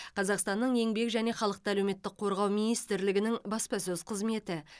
қазақстанның еңбек және халықты әлеуметтік қорғау министрлігінің баспасөз қызметі